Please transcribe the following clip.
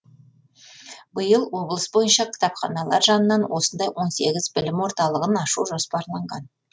биыл облыс бойынша кітапханалар жанынан осындай он сегіз білім орталығын ашу жоспарланған